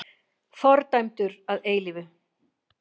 Fordæmdur að eilífu!